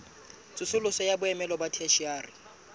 tsosoloso ya boemo ba theshiari